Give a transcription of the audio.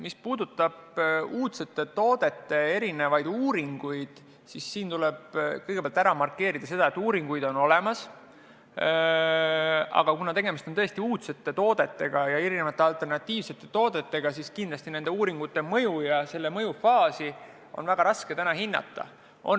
Mis puudutab uudsete toodete uuringuid, siis tuleb kõigepealt ära markeerida seda, et uuringuid on tehtud, aga kuna tegemist on tõesti uudsete toodetega ja erinevate alternatiivsete toodetega, siis nende uuringute tulemusi on selles faasis väga raske hinnata.